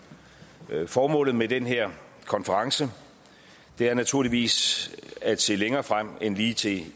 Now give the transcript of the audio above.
formålet med den her konference er naturligvis at se længere frem end lige til